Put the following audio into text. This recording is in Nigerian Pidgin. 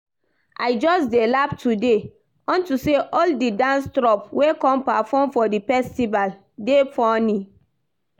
I just dey laugh today unto say all the dance troupe wey come perform for the festival dey funny